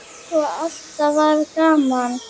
Og alltaf var gaman.